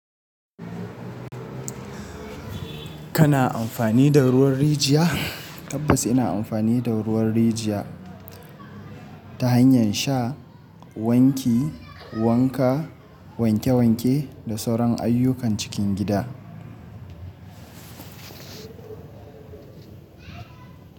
Kana amfani da ruwan rijiya? Tabbas ina amfani da ruwan rijiya ta hanyar sha, wanki, wanka, wanke-wanke da sauran ayyukan cikin gida.